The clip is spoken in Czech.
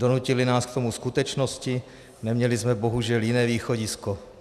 Donutily nás k tomu skutečnosti, neměli jsme bohužel jiné východisko.